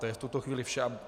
To je v tuto chvíli vše.